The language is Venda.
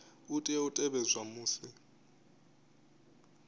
a tea u tevhedzwa musi